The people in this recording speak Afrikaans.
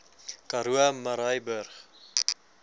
karoo murrayburg